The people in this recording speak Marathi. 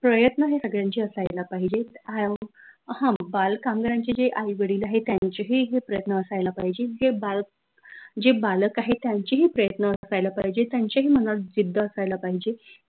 प्रयत्न हे सगळ्याचे असायला पाहिजेत हं बाल कामगारांचे जे आई वडील आहेत त्यांचे ही प्रयत्न असायला पाहिजे जे बाल जे बालक आहेत त्यांचे ही प्रयत्न असायला पाहिजे त्यांच्या ही मनात जिद्द असायला पाहिजे